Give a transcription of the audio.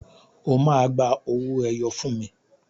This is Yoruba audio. O ma gba owó ẹyọ fún mi!